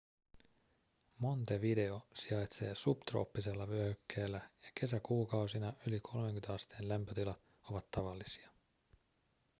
montevideo sijaitsee subtrooppisella vyöhykkeellä ja kesäkuukausina yli 30 asteen lämpötilat ovat tavallisia